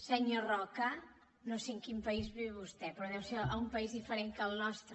senyor roca no sé en quin país viu vostè però deu ser un país diferent del nostre